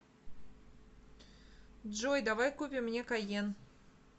джой давай купим мне кайен